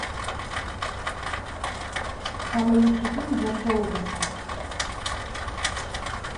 самый лучший фильм джорджа лукаса